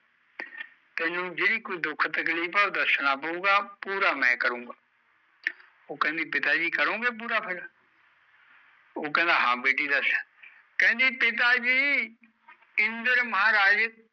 ਤੈਨੂ ਜਿਹੜੀ ਕੋਈ ਦੁਖ ਤਕਲੀਫ ਐ ਉਹ ਦੱਸਣਾ ਪਉਗਾ, ਪੂਰਾ ਮੈਂ ਕਰੁਗਾ ਉਹ ਕਹਿੰਦੀ ਪਿਤਾ ਜੀ ਕਰੋਗੇ ਪੂਰਾ ਫਿਰ ਉਹ ਕਹਿੰਦਾ ਹਾਂ ਬੇਟੀ ਦੱਸ ਕਹਿੰਦੀ ਪਿਤਾ ਜੀ ਇੰਦਰ ਮਹਾਰਾਜ